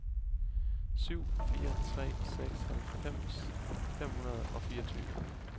syv fire tre seks halvfems fem hundrede og fireogtyve